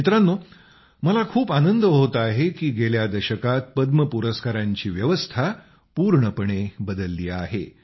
मित्रांनो मला खूप आनंद होत आहे की गेल्या दशकात पद्म पुरस्कारांची व्यवस्था रचना पूर्णपणे बदलली आहे